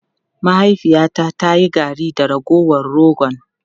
Mahaifiyata ta yi garri da ragowar rogon.